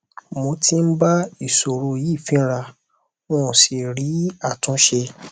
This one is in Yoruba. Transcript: mo tí ń bá ìsòro yìí fínra n ò sì rí àtúnṣe